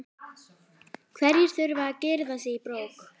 Hverjir þurfa að girða sig í brók?